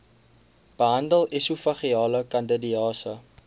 behandel esofageale kandidiase